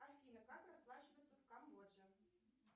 афина как расплачиваться в камбоджи